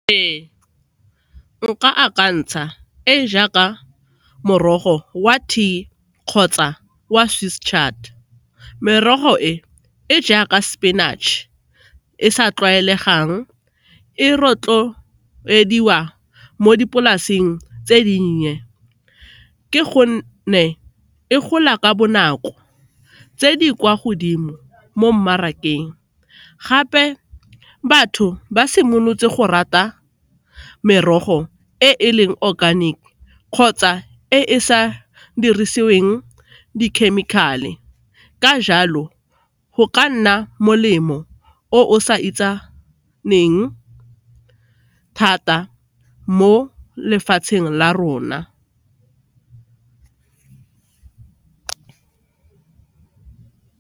Ee, nka akantsha e e jaaka morogo wa T kgotsa wa . Merogo e e jaaka spinach e sa tlwaelegang e rotloediwa mo dipolaseng tse dinnye ke gonne e gola ka bonako, tse di kwa godimo mo mmarakeng gape batho ba simolotse go rata merogo e e leng organic kgotsa e e sa dirisiweng dikhemikhale ka jalo go ka nna molemo o o sa itsaneng thata mo lefatsheng la rona.